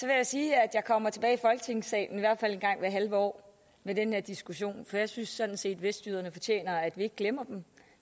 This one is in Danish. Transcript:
jeg sige at jeg kommer tilbage i folketingssalen i hvert fald en gang hvert halve år med den her diskussion for jeg synes sådan set at vestjyderne fortjener at vi ikke glemmer dem